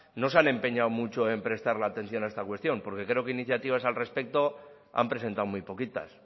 no se han empeñado mucho en prestarle atención a esta cuestión porque creo que iniciativas al respecto han presentado muy poquitas